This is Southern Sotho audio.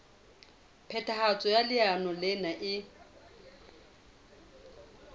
phethahatso ya leano lena e